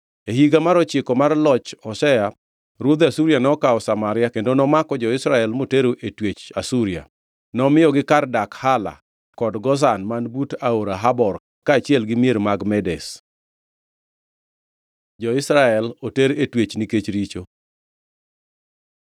E higa mar ochiko mar loch Hoshea, ruodh Asuria nokawo Samaria kendo nomako jo-Israel motero e twech Asuria. Nomiyogi kar dak Hala kod Gozan man but Aora Habor kaachiel gi mier mag Medes. Jo-Israel oter e twech nikech richo